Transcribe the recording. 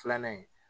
Filanan in